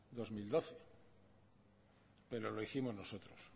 dos mil doce pero lo hicimos nosotros